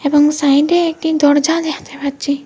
এবং সাইডে একটি দরজা দেখতে পাচ্ছি।